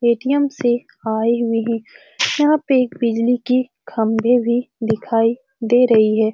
Paytm से आए हुए है यहाँ पर बिजली के खंभे भी दिखाई दे रहे है ।